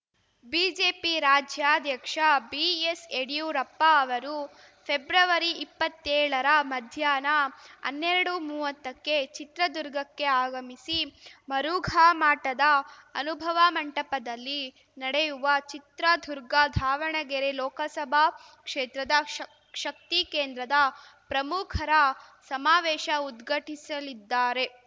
BJP ರಾಜ್ಯಾಧ್ಯಕ್ಷ ಬಿಎಸ್‌ಯಡ್ಯೂರಪ್ಪ ಅವರು ಫೆಬ್ರವರಿಇಪ್ಪತ್ತೇಳರ ಮಧ್ಯಾಹ್ನ ಅನ್ನೆರಡುಮೂವತ್ತಕ್ಕೆ ಚಿತ್ರದುರ್ಗಕ್ಕೆ ಆಗಮಿಸಿ ಮರುಘಾಮಠದ ಅನುಭವ ಮಂಟಪದಲ್ಲಿ ನಡೆಯುವ ಚಿತ್ರದುರ್ಗಧಾವಣಗೆರೆ ಲೋಕಸಭಾ ಕ್ಷೇತ್ರದ ಶಕ್ ಶಕ್ತಿ ಕೇಂದ್ರದ ಪ್ರಮುಖರ ಸಮಾವೇಶ ಉದ್ಘಟಿಸಲಿದ್ದಾರೆ